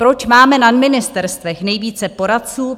Proč máme na ministerstvech více poradců?